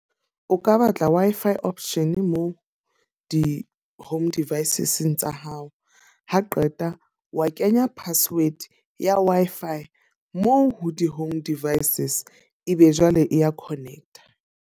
O ka batla Wi-Fi option moo di-home devices tsa hao. Ha qeta o kenya password ya Wi-Fi moo ho di-home devices ebe jwale e ya connect-a.